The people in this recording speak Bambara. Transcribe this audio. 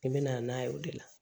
I bɛna n'a ye o de la